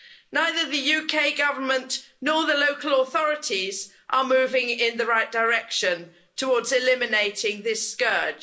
Neither the UK Government nor the local authorities are moving in the right direction towards eliminating this scourge.